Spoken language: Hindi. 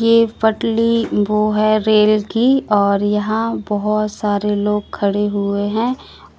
ये पटली वो है रेल की और यहां बहोत सारे लोग खड़े हुए हैं